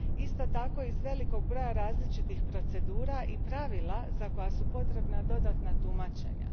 isto tako i iz velikog broja različitih procedura i pravila za koja su potrebna dodatna tumačenja.